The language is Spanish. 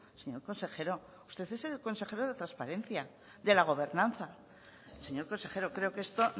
señor consejero usted es el consejero de transparencia de la gobernanza señor consejero creo que esto